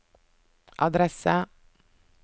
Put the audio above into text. adresse